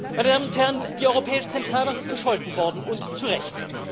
Meine Damen und Herren, die Europäische Zentralbank ist gescholten worden und zu Recht.